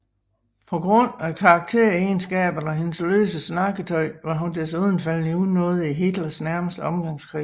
På grund af karakteregenskaberne og hendes løse snakketøj var hun desuden faldet i unåde i Hitlers nærmeste omgangskreds